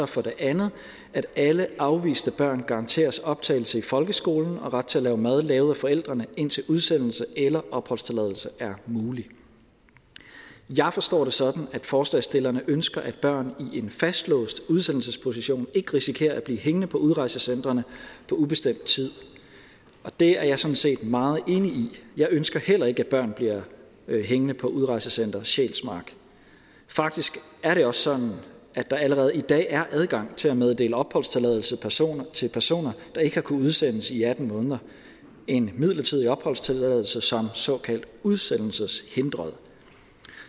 for det andet at alle afviste børn garanteres optagelse i folkeskolen og ret til mad lavet af forældrene indtil udsendelse eller opholdstilladelse er muligt jeg forstår det sådan at forslagsstillerne ønsker at børn i en fastlåst udsendelsesposition ikke risikerer at blive hængende på udrejsecentrene på ubestemt tid og det er jeg sådan set meget enig i jeg ønsker heller ikke at børn bliver hængende på udrejsecenter sjælsmark faktisk er det også sådan at der allerede i dag er adgang til at meddele opholdstilladelse til personer der ikke har kunnet udsendes i atten måneder en midlertidig opholdstilladelse som såkaldt udsendelseshindret